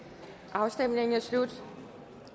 afstemningen er slut